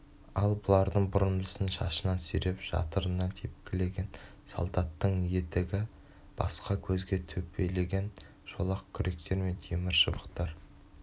ал бұлардың бұрымдысын шашынан сүйреп жатырынан тепкілеген солдаттың етігі басқа көзге төпелеген шолақ күректер мен темір шыбықтар